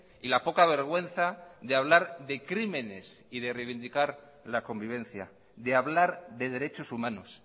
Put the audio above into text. y la poca vergüenza de hablar de crímenes y de reivindicar la convivencia de hablar de derechos humanos